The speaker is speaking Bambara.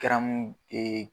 Garamu